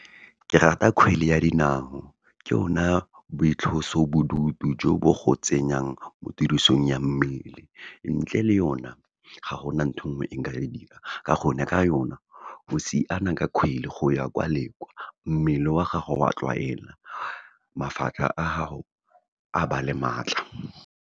Ke rata kgwele ya dinao, ke yona boitlosobodutu jo bo go tsenyang mo tirisong ya mmele, ntle le yona ga gona ntho engwe nka e dirang, ka gonne ka yona, o siana ka kgwele, go ya kwa le kwa, mmele wa gago wa tlwaela, mafatlha a gago a ba le maatla.